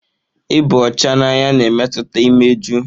Ịba ọcha n'anya na-emetụta imeju.